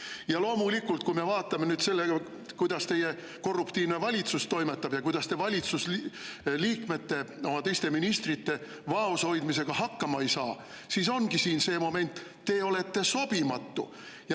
Ja loomulikult, kui me vaatame nüüd seda, kuidas teie korruptiivne valitsus toimetab ja kuidas te valitsusliikmete, teiste ministrite vaoshoidmisega hakkama ei saa, siis ongi siin see moment: te olete sobimatu.